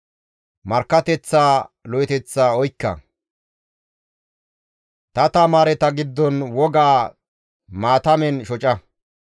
Markkateththaa lo7eththa oykka; ta tamaareta giddon wogaa maatamen shoca.